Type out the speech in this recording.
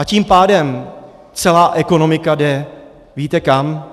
A tím pádem celá ekonomika jde, víte kam?